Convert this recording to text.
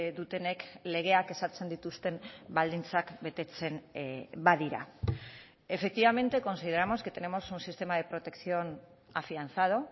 dutenek legeak ezartzen dituzten baldintzak betetzen badira efectivamente consideramos que tenemos un sistema de protección afianzado